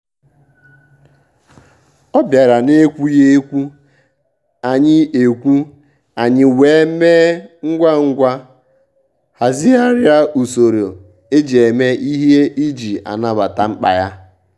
ọ́ bìàrà n’ékwúghị́ ékwù ànyị́ ékwù ànyị́ wèé mèé ngwá ngwá hàzị́ghàrị́ ùsòrò éjí èmè ìhè ìjí nàbàtà mkpá yá.